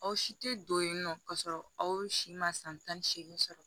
Aw si tɛ don yen nɔ ka sɔrɔ aw si ma san tan ni seegin sɔrɔ